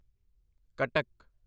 Cuttack